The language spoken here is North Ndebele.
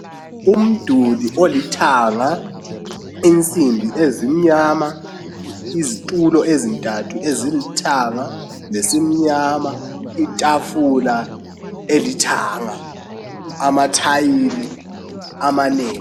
Umduli olithanga . Insimbi ezimnyama. Izitulo ezintathu ezilithanga lesimnyama .Itafula elithanga .Amathayili amanengi